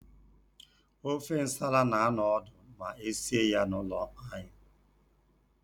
Ofe nsala na-anọ ọdụ ma esie ya n'ụlọ anyị.